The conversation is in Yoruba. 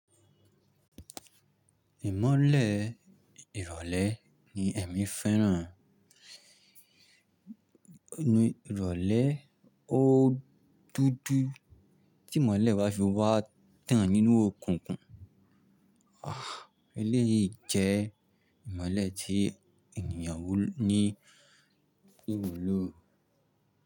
Ìmọ́lẹ̀ ìrọ̀lẹ́ ni ẹ̀mí fẹ́ràn. Ìrọ̀lẹ́ o dúdú tí ìmọ́lẹ̀ bá fi wá tàn nínú okùnkun. Eléyìí jẹ́ ìmọ́lẹ̀ tí ènìyàn wù ní ìwulò.